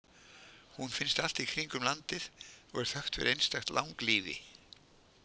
Hún finnst allt í kringum landið og er þekkt fyrir einstakt langlífi.